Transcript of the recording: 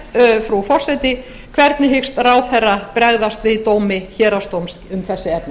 er frú forseti hvernig hyggst ráðherra bregðast við dómi héraðsdóms um þetta efni